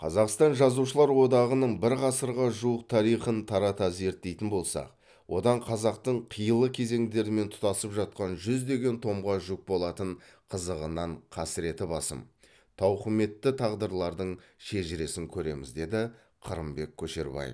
қазақстан жазушылар одағының бір ғасырға жуық тарихын тарата зерттейтін болсақ одан қазақтың қилы кезеңдерімен тұтасып жатқан жүздеген томға жүк болатын қызығынан қасіреті басым тауқыметті тағдырлардың шежіресін көреміз деді қырымбек көшербаев